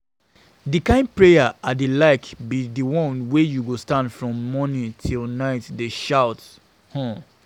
The kin prayer I dey like be the one wey you go stand from morning till night dey shout um